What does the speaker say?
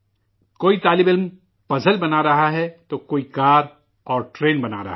کوئی طالب علم معمہ بنا رہا ہے تو کوئی کار اور ٹرین بنا رہا ہے